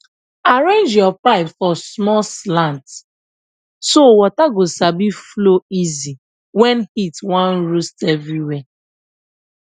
arrange your pipe for small slant so water go sabi flow easy when heat wan roast everywhere